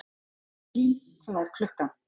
Eylín, hvað er klukkan?